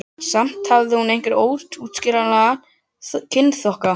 Samt hafði hún einhvern óútskýranlegan kynþokka.